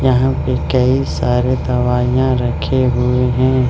यहाँ पे कई सारे दवाइयां रखे हुए हैं।